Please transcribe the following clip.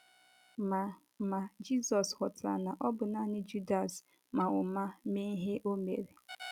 Ma Ma Jizọs ghọtara na ọ bụ nanị Judas ma ụma mee ihe o mere.